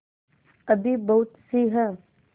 अभी बहुतसी हैं